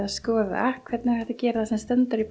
að skoða hvernig hægt er að gera það sem stendur í